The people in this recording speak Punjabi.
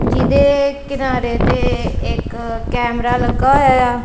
ਜੀਦੇ ਕਿਨਾਰੇ ਤੇ ਇੱਕ ਕੈਮਰਾ ਲੱਗਾ ਹੋਇਆ।